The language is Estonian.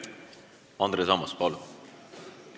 Andres Ammas, palun!